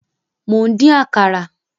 Mò ń dín Àkàrà